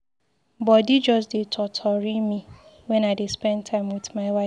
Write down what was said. Body just dey totori me wen I dey spend time with my wife.